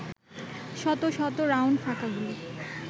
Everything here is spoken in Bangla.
শত শত রাউন্ড ফাঁকা গুলি